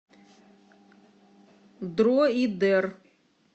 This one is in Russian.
дроидер